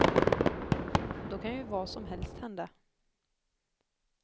Då kan ju vad som helst hända.